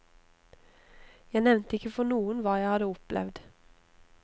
Jeg nevnte ikke for noen hva jeg hadde opplevd.